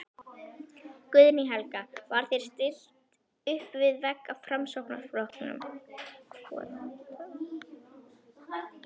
Guðný Helga: Var þér stillt uppvið vegg af Framsóknarflokknum?